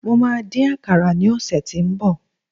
mo ma din àkàrà ni ọsẹ tínbọ̀